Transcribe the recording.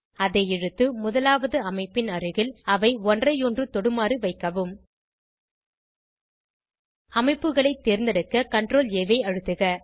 அதை இழுத்து முதலாவது அமைப்பின் அருகில் அவை ஒன்றையொன்று தொடுமாறு வைக்கவும் அமைப்புகளை தேர்ந்தெடுக்க CTRLA ஐ அழுத்துக